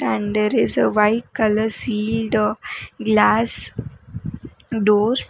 and there is a white colour sealed glass doors.